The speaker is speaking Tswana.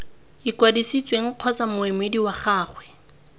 ikwadisitseng kgotsa moemedi wa gagwe